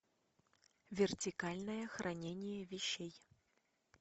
вертикальное хранение вещей